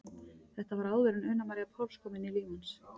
Þetta var áður en Una María Páls kom inn í líf hans.